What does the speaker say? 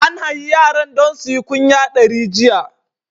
An hayi yaran don suyi kunya dari jiya.